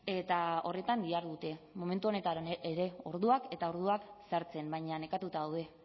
eta horretan dihardute momentu honetan ere orduak eta orduak sartzen baina nekatuta daude